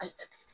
A ye